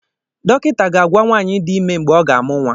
Dọkịta ga-agwa nwaanyị dị ime mgbe ọ ga-amụ nwa